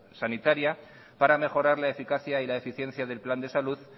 sanitaria para mejorar la eficacia y la eficiencia del plan de salud